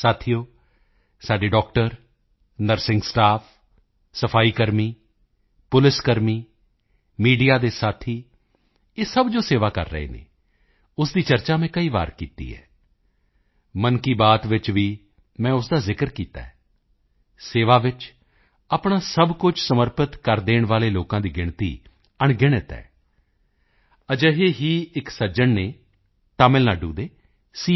ਸਾਥੀਓ ਸਾਡੇ doctor nursing staff ਸਫਾਈ ਕਰਮੀ ਪੁਲਿਸ ਕਰਮੀ ਮੀਡੀਆ ਦੇ ਸਾਥੀ ਇਹ ਸਭ ਜੋ ਸੇਵਾ ਕਰ ਰਹੇ ਹਨ ਉਸ ਦੀ ਚਰਚਾ ਮੈਂ ਕਈ ਵਾਰ ਕੀਤੀ ਹੈ ਮਨ ਕੀ ਬਾਤ ਵਿੱਚ ਵੀ ਮੈਂ ਉਸ ਦਾ ਜ਼ਿਕਰ ਕੀਤਾ ਹੈ ਸੇਵਾ ਵਿੱਚ ਆਪਣਾ ਸਭ ਕੁਝ ਸਮਰਪਿਤ ਕਰ ਦੇਣ ਵਾਲੇ ਲੋਕਾਂ ਦੀ ਗਿਣਤੀ ਅਣਗਿਣਤ ਹੈ ਅਜਿਹੇ ਹੀ ਇੱਕ ਸੱਜਣ ਹਨ ਤਮਿਲਨਾਡੂ ਦੇ ਸੀ